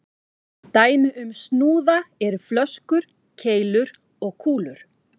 Dæmi um snúða eru flöskur, keilur og kúlur.